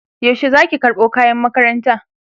yaushe Zaki karɓo kayan makaranta?